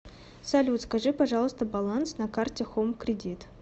салют скажи пожалуйста баланс на карте хоум кредит